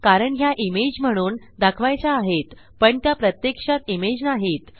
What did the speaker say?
कारण ह्या इमेज म्हणून दाखवायच्या आहेत पण त्या प्रत्यक्षात इमेज नाहीत